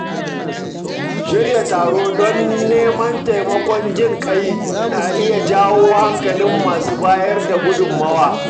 Shirya taro don neman taimakon jin ƙai na iya jawo hankalin masu bayar da gudummawa.